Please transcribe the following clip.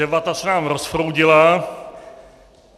Debata se nám rozproudila.